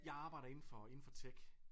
Jeg arbejder inden for inden for tech